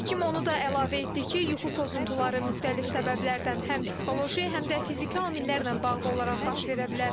Həkim onu da əlavə etdi ki, yuxu pozuntuları müxtəlif səbəblərdən, həm psixoloji, həm də fiziki amillərlə bağlı olaraq baş verə bilər.